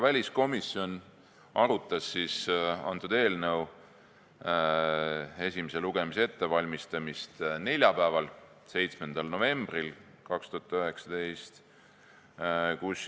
Väliskomisjon valmistas eelnõu esimest lugemist ette neljapäeval, 7. novembril 2019.